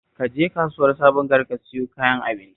Ka je kasuwar Sabon gari ka sayo kayan abincin